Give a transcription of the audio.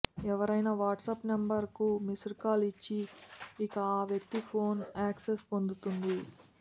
ఎవరైనా వాట్సాప్ నెంబర్కు missed call ఇచ్చి ఇక ఆ వ్యక్తి ఫోన్కు యాక్సెస్ పొందుతుంది